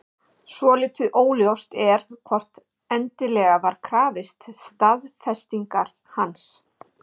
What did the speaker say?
Svolítið óljóst er hvort endilega var krafist staðfestingar hans.